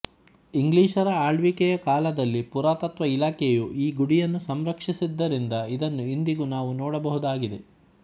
ಇಂಗ್ಲಿಷರ ಆಳ್ವಿಕೆಯ ಕಾಲದಲ್ಲಿ ಪುರಾತತ್ವ ಇಲಾಖೆಯು ಈ ಗುಡಿಯನ್ನು ಸಂರಕ್ಷಿಸಿದ್ದರಿಂದ ಇದನ್ನು ಇಂದಿಗೂ ನಾವು ನೋಡಬಹುದಾಗಿದೆ